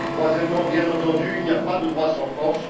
Troisièmement, bien entendu, il n'y a pas de droit sans force.